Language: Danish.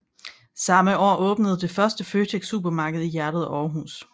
Samme år åbnede han det første Føtex supermarked i hjertet af Aarhus